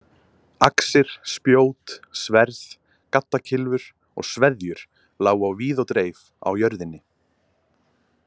Axir, spjót, sverð, gaddakylfur og sveðjur lágu á víð og dreif á jörðinni.